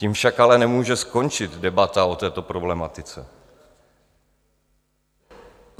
Tím však ale nemůže skončit debata o této problematice.